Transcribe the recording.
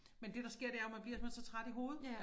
Men det der sker det er man bliver simpelthen så træt i hovedet